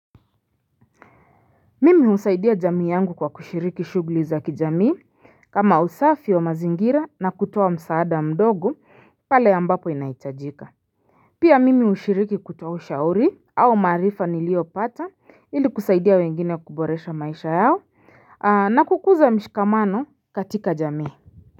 Mimi usaidia jamii yangu kwa kushiriki shugli za kijamii kama usafi wa mazingira na kutoa msaada mdogo pale ambapo inaitajika Pia mimi ushiriki kutoa ushauri au maarifa nilio pata ili kusaidia wengine kuboresha maisha yao na kukuza mshikamano katika jamii.